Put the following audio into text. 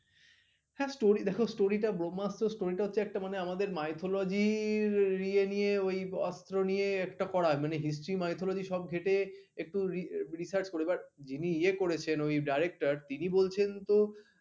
হ্যাঁ story দেখো story টা ব্রহ্মাস্ত story টা হচ্ছে একটা আমাদের mythology র ইয়ে নিয়ে ওই অস্ত্র নিয়ে একটা করা, মানে history mythology সব ঘেঁটে একটু research করে যিনি ইয়ে করেছেন ওই director তিনি বলছেন তো